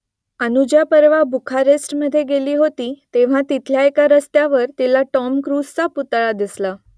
अनुजा परवा बुखारेस्टमध्ये गेली होती तेव्हा तिथल्या एका रस्त्यावर तिला टॉम क्रूझचा पुतळा दिसला